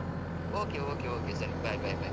okay okay okay ಸರಿ, bye bye bye.